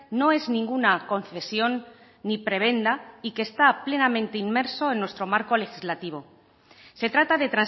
no es ninguna concesión ni prebenda y que está plenamente inmerso en nuestro marco legislativo se trata de